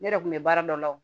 Ne yɛrɛ kun bɛ baara dɔ la o